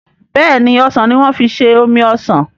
béèni osàn ní wan fí ṣe omí osán.